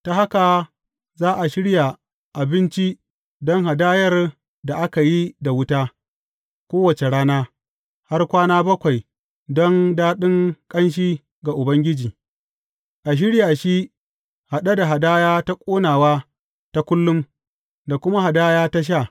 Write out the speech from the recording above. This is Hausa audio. Ta haka za a shirya abinci don hadayar da aka yi da wuta, kowace rana, har kwana bakwai don daɗin ƙanshi ga Ubangiji; a shirya shi haɗe da hadaya ta ƙonawa ta kullum, da kuma hadaya ta sha.